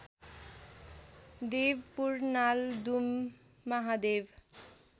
Devpur Naldum Mahadev